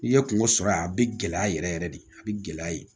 N'i ye kungo sɔrɔ yan a bɛ gɛlɛya yɛrɛ yɛrɛ de a bɛ gɛlɛya ye